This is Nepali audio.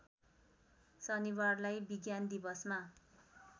शनिबारलाई विज्ञान दिवसमा